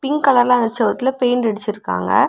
Pink கலர்ல அந்த செவுத்துல பெயிண்ட் அடிச்சு இருக்காங்க.